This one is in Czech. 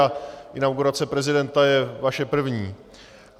A inaugurace prezidenta je vaše první.